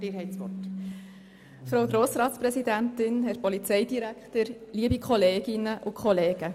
Der Grosse Rat hat den Antrag Grüne zu Artikel 14 Absatz 6(neu) abgelehnt.